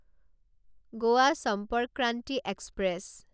Goa Sampark Kranti express